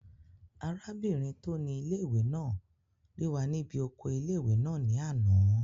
Arábìnrin tó ni ilé-ìwé náà rí wa ní bí oko ilé-ìwé náà ní àná